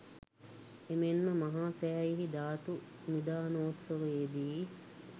එමෙන්ම මහා සෑයෙහි ධාතු නිධානෝත්සවයේදී